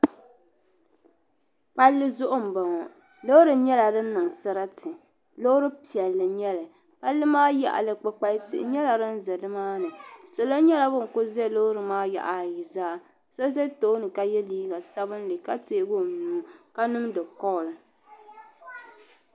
Palli zuɣu m boŋɔ loori nyɛla din niŋ sarati loori piɛlli n nyɛli palli maa yaɣali kpukpal'tia nyɛla din za nimaani salo nyɛla bin kuli za loori maa yaɣa ayi maa zaa so za tooni ka teegi o nua ka niŋdi koll.